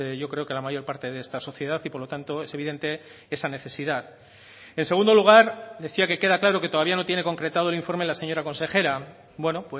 yo creo que la mayor parte de esta sociedad y por lo tanto es evidente esa necesidad en segundo lugar decía que queda claro que todavía no tiene concretado el informe la señora consejera bueno